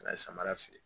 Ka na samara feere